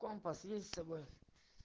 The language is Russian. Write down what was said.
компас есть с собой